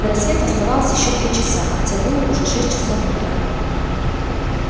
до рассвета оставалось ещё три часа хотя было уже шесть часов утра